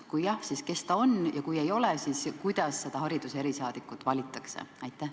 Kui jah, siis kes ta on, ja kui ei ole, siis kuidas see hariduse erisaadik valitakse?